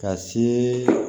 Ka see